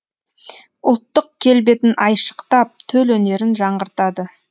ұлттық келбетін айшықтап төл өнерін жаңғыртады